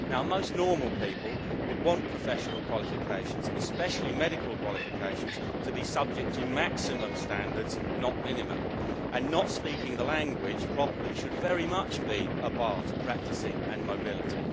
Most normal people would want professional qualifications, especially medical qualifications, to be subject to maximum, not minimum, standards and not speaking the language properly should very much be a bar to practising and mobility.